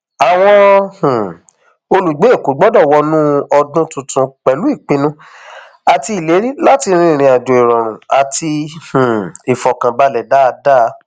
àwọn um olùgbé èkó gbọdọ wọnú ọdún tuntun pẹlú ìpinnu àti ìlérí láti rin ìrìnàjò ìrọrùn àti um ìfọkànbalẹ dáadáa